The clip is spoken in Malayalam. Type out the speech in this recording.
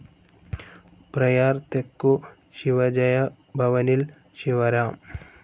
പ്രയാർ തെക്കു ശിവജയ ഭവനിൽ ശിവറാം